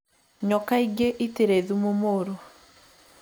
Nyoka ingĩ itirĩ thumu mũru